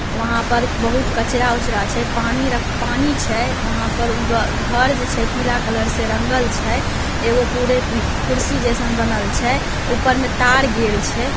वहां पर एक बहुत कचरा उचरा छै पानी रख पानी छै वहां पे एक घर छै पीला कलर से रंगल छै कुर्सी जैसन बनल छै ऊपर मे तार गैल छै।